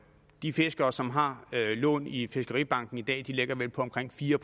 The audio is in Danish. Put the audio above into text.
de fiskere som har lån i fiskeribanken i dag ligger vel på omkring fire